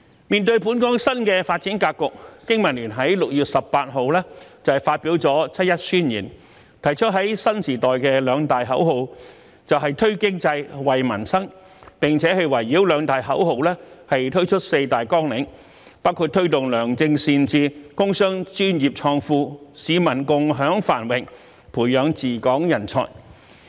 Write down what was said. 面對本港新的發展格局，經民聯在6月18日發表了《七一宣言》，提出在新時代的兩大口號"推經濟、惠民生"，並圍繞兩大口號推出四大綱領，包括"推動良政善治、工商專業創富、市民共享繁榮、培養治港人才"。